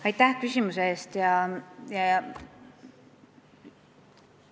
Aitäh küsimuse eest!